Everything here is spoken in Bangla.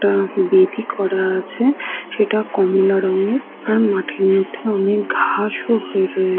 একটা বেদি করা আছে সেটা কমলা রঙের আর মাঠের মধ্যে অনেক ঘাস ও হয়ে রয়ে --